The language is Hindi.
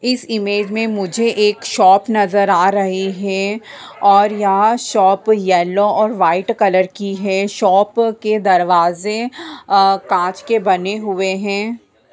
इस इमेज में मुझे एक शॉप नज़र आ रही है। और यह शॉप येलो और वाइट कलर की है। शॉप के दरवाज़े अ कांच के बने हुए है।